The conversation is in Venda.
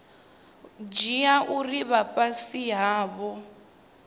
dzhia uri vha fhasi havho